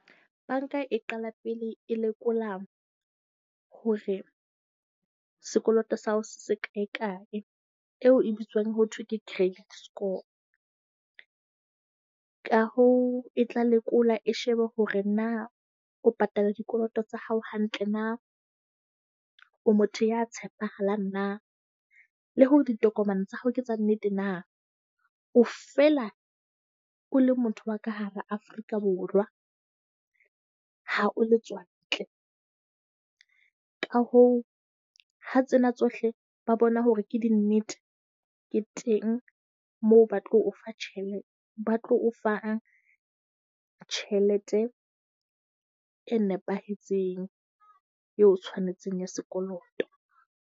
Banka e qala pele e lekola hore sekoloto sa hao se se kae kae eo e bitswang ho thwe ke credit score. Ka hoo e tla lekola e shebe hore na o patala dikoloto tsa hao hantle na. O motho ya tshepahalang na le hore ditokomane tsa hao ke tsa nnete na. O fela o le motho wa ka hara Afrika Borwa, ha o letswantle. Ka hoo, ha tsena tsohle ba bona hore ke dinnete ke teng moo ba tlo o fa , ba tlo o fang tjhelete e nepahetseng eo tshwanetseng ya sekoloto.